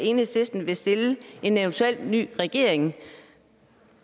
enhedslisten vil stille til en eventuel ny regering